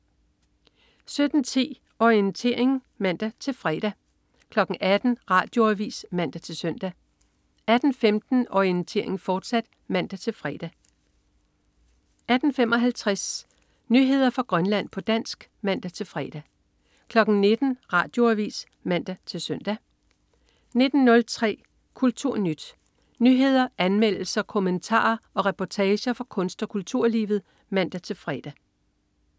17.10 Orientering (man-fre) 18.00 Radioavis (man-søn) 18.15 Orientering, fortsat (man-fre) 18.55 Nyheder fra Grønland, på dansk (man-fre) 19.00 Radioavis (man-søn) 19.03 KulturNyt. Nyheder, anmeldelser, kommentarer og reportager fra kunst- og kulturlivet (man-fre)